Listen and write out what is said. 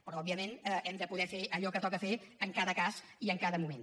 però òbviament hem de poder fer allò que toca fer en cada cas i en cada moment